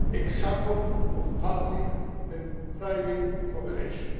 example of public and private cooperation.